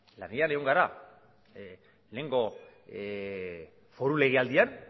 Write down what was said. lanean egon gara lehenengo foru legealdian